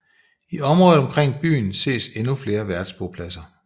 I området omkring byen ses endnu flere værftbopladser